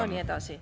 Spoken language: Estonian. … ja nii edasi.